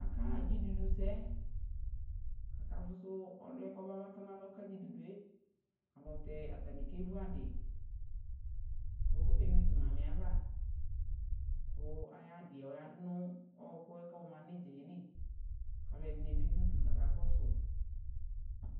Akaɣa (dzidudusɛ): akafʋsʋ ɔlʋɛ k'ɔma batɔ n'alɔ ka(dzidudue), ayɛlʋtɛ atanɩ k'evu adɩ ; kʋ eyui tʋ Mamɩɛ ava , kʋ ay'adɩɛ ladʋ nʋ ɔɔkʋɛ k'ɔɔma n'ɩdzaɛ li, k'alʋɛ dɩnɩ bɩ dʋ udu k'aka kɔsʋ